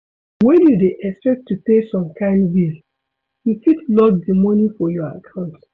When you dey expect to pay some kind bill, you fit lock di money for your account